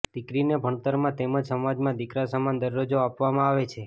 દિકરીને ભણતરમાં તેમજ સમાજમાં દિકરા સમાન દરજ્જો આપવામાં આવે છે